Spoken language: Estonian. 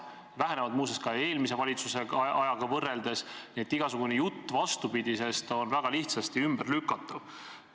Need vähenevad muuseas ka eelmise valitsuse ajaga võrreldes, nii et igasugune jutt vastupidisest on väga lihtsasti ümberlükatav.